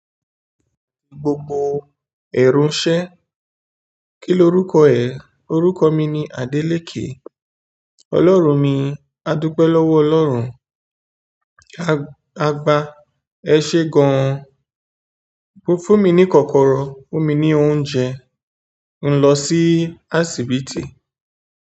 Gbogbo èrò iṣẹ́, kí lorúkọ ẹ? Orúkọ mi ni Adélékè. Ọlọ́run mi, a dúpẹ́ lọ́wọ́ Ọlọ́run. Agba, ẹ ṣé gan. Fún mi ní kọ́kọ́rọ́, fún mi ní oúnjẹ. N ò lọ sí asìbitì.